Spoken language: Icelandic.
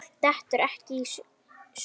Fólk dettur ekkert í sundur.